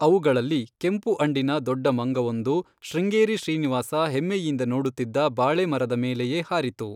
ಅವುಗಳಲ್ಲಿ ಕೆಂಪು ಅಂಡಿನ ದೊಡ್ಡ ಮಂಗವೊಂದು ಶೃಂಗೇರಿ ಶ್ರೀನಿವಾಸ ಹೆಮ್ಮೆಯಿಂದ ನೋಡುತ್ತಿದ್ದ ಬಾಳೆಮರದ ಮೇಲೆಯೇ ಹಾರಿತು.